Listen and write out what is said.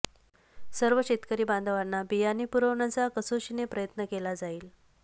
सर्व शेतकरी बांधवांना बियाणे पुरवण्याचा कसोशीने प्रयत्न केला जाईल